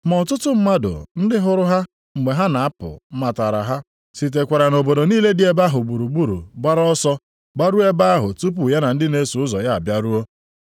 Ma ọtụtụ mmadụ ndị hụrụ ha mgbe ha na-apụ matara ha, sitekwara nʼobodo niile dị ebe ahụ gburugburu gbara ọsọ gbaruo ebe ahụ tupu ya na ndị na-eso ụzọ ya abịaruo.